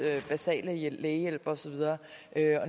basale lægehjælp og så videre